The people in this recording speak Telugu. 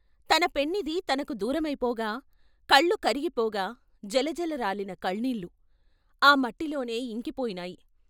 తన పెన్నిధి తనకు దూరమైపోగా, కళ్ళు కరిగిపోగా జలజల రాలిన కన్నీళ్ళు ఆ మట్టిలోనే ఇంకిపోయినాయి.